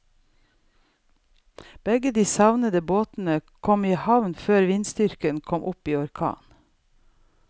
Begge de savnede båtene kom i havn før vindstyrken kom opp i orkan.